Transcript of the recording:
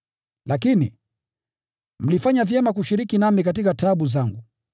Lakini, mlifanya vyema kushiriki nami katika taabu zangu.